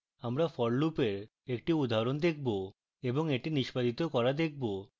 আমরা for loop লুপের একটি উদাহরণ দেখব এবং এটি নিষ্পাদিত করা দেখবো